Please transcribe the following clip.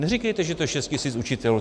Neříkejte, že to je 6 000 učitelů.